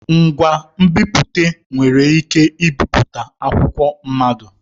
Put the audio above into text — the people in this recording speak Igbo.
Onye nbipute nwere ike ibipụta akwụkwọ mmado.